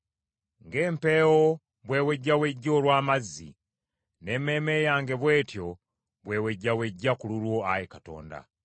Ng’empeewo bw’ewejjawejja olw’amazzi, n’emmeeme yange bw’etyo bwe wejjawejja ku lulwo, Ayi Katonda.